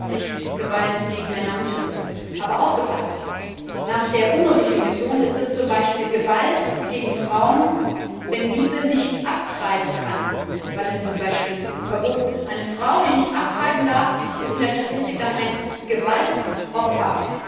Übrigens auch nicht Gewalt gegen Männer und Jungs. Aber aufgepasst Nach der UNO Definition ist es zum Beispiel Gewalt gegen Frauen, wenn diese nicht abtreiben kann, weil es zum Beispiel verboten ist. Eine Frau, die nicht abtreiben darf, ist in der Statistik dann ein Gewaltopfer.